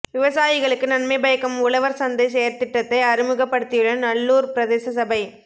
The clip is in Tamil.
விவசாயிகளுக்கு நன்மை பயக்கும் உழவர் சந்தை செயற்திட்டத்தை அறிமுகப்படுத்தியுள்ள நல்லூர் பிரதேச சபை